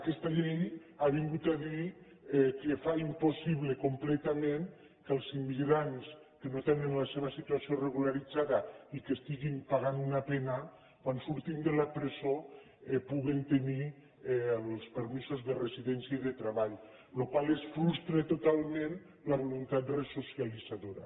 aquesta llei ha vingut a dir que fa impossible completament que els immigrants que no tenen la seva situació regularitzada i que estiguin pagant una pena quan surtin de la presó puguen tenir els permisos de residència i de treball amb la qual cosa es frustra totalment la voluntat resocialitzadora